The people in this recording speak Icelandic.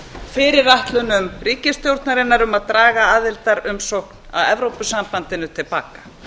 fyrirætlunum ríkisstjórnarinnar um að draga aðildarumsókn að evrópusambandinu til baka